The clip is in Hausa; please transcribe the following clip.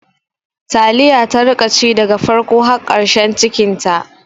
Taliya ta rika ci daga farko har ƙarshen cikinta